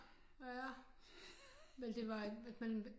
Men det var et men